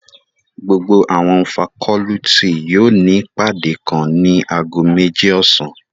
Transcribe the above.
Gbogbo awọn facọluti yóò ni ipade kan nib ago meji ọsan